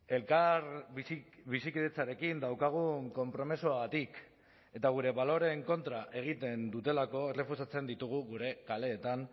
elkar bizikidetzarekin daukagun konpromisoagatik eta gure baloreen kontra egiten dutelako errefusatzen ditugu gure kaleetan